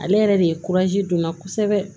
Ale yɛrɛ de ye don n na kosɛbɛ